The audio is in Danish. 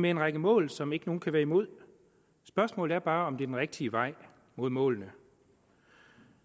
med en række mål som ingen kan være imod spørgsmålet er bare om det er den rigtige vej mod målene